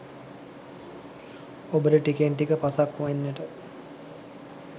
ඔබට ටිකෙන් ටික පසක් වෙන්නට